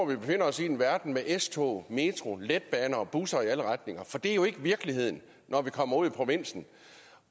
vi befinder os i en verden med s tog metro letbaner og busser i alle retninger for det er jo ikke virkeligheden når vi kommer ud i provinsen